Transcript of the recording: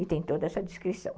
E tem toda essa descrição.